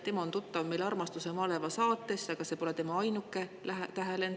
Ta on tuttav "Armastuse maleva" saatest, aga see pole tema ainuke tähelend.